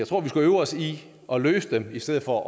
tror vi skal øve os i at løse dem i stedet for